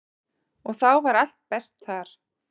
Og þá var allt best þar.